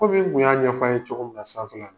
Kɔmi n kun y'a ɲɛfɔ aw ye cogo min na salon.